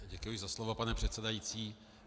Děkuji za slovo, pane předsedající.